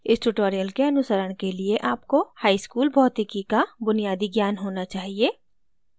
इस tutorial के अनुसरण के लिए आपको हाईस्कूल भौतिकी का बुनियादी ज्ञान होना चाहिए